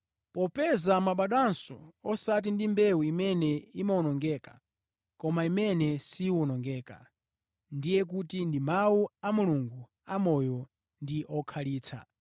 Popeza mwabadwanso, osati ndi mbewu imene imawonongeka, koma imene siwonongeka, ndiye kuti ndi Mawu a Mulungu amoyo ndi okhalitsa.